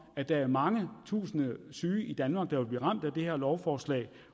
at der er mange tusinde syge i danmark der vil blive ramt af det her lovforslag